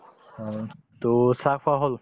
অ, to চাহ খোৱা হল